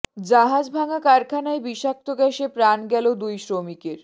জাহাজ ভাঙা কারখানায় বিষাক্ত গ্যাসে প্রাণ গেল দুই শ্রমিকের